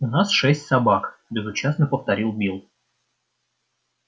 у нас шесть собак безучастно повторил билл